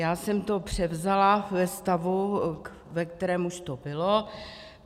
Já jsem to převzala ve stavu, ve kterém už to bylo.